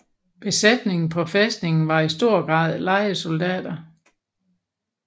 Besætningen på fæstningen var i stor grad lejesoldater